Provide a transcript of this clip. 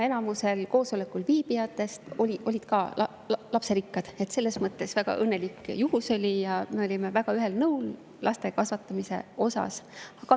Enamik seal koosolekul viibinutest olid lasterikkad, selles mõttes see oli väga õnnelik juhus, ja me olime väga ühel nõul laste kasvatamise osas.